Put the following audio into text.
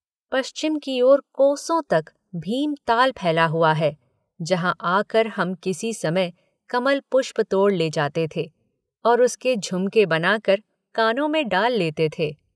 पश्चिम की ओर कोसों तक भीमताल फैला हुआ है जहाँ आकर हम किसी समय कमल पुष्प तोड़ ले जाते थे और उसके झुमके बनाकर कानों में डाल लेते थे।